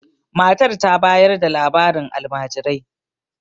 matar ta bayar da labarin alamajirai